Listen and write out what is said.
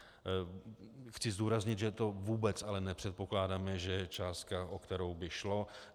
Chci zdůraznit, že to vůbec ale nepředpokládáme, že je částka, o kterou by šlo.